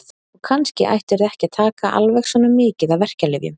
Og kannski ættirðu ekki að taka alveg svona mikið af verkjalyfjum.